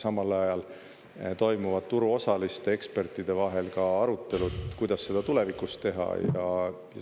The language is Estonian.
Samal ajal toimuvad turuosaliste ja ekspertide vahel ka arutelud, kuidas seda tulevikus teha.